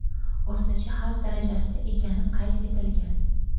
O‘rtacha xavf darajasida ekani qayd etilgan.